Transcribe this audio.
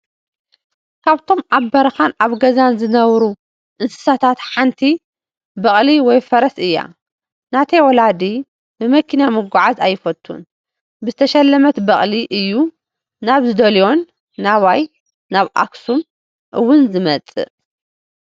ካብቶም ኣብ በረኻን ኣብ ገዛን ዝነብሩ እንስሳታት ሓንቲ በቕሊ/ፈረስ እያ፡ ናተይ ወላዲ ብመኪና ምጓዓዝ ኣይፈቱን ብተሸለመት በቕሊ እዩ ናብ ዝደለዮን ናባይ (ናብ ኣክሱም) ውን ዝመፅእ...